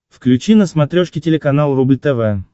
включи на смотрешке телеканал рубль тв